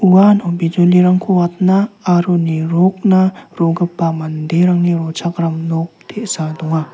uano bijolirangko watna aro nirokna rogipa manderangni rochakram nok te·sa donga.